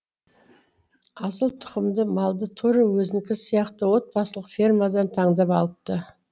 асыл тұқымды малды тура өзінікі сияқты отбасылық фермадан таңдап алыпты